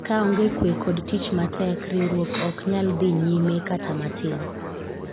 kaonge kwe kod tich matek ,riwruok ok nyal nyi nyime kata matin